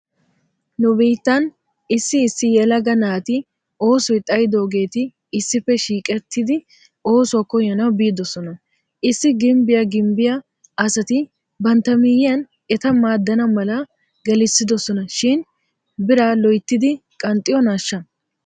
Nu biittan issi issi yelaga naati osoy xayidoogeeti issippe shiiqettidi oosuwaa koyanaw biidosan issi gimbbiyaa gimbbiyaa asati bantta miyyiyan eta maaddana mala gelissidosona shin biraa loyttidi qanxxiyoonaashsha?